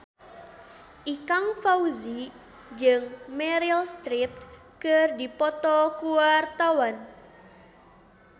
Ikang Fawzi jeung Meryl Streep keur dipoto ku wartawan